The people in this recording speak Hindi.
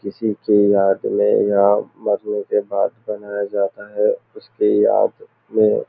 किसी की याद में या मरने के बाद बनाया जाता है उसकी याद में।